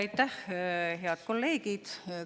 Aitäh, head kolleegid!